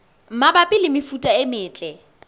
mabapi le mefuta e metle